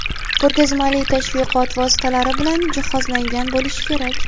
ko‘rgazmali tashviqot vositalari bilan jihozlangan bo‘lishi kerak;.